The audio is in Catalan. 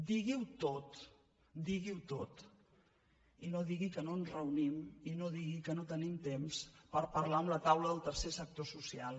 digui·ho tot digui·ho tot i no digui que no ens reu·nim i no digui que no tenim temps per parlar amb la taula del tercer sector social